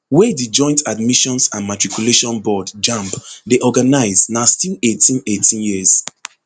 wey di joint admissions and matriculation board jamb dey organise na still eighteen eighteen years